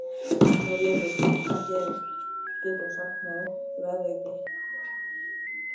Herleifur, hvað geturðu sagt mér um veðrið?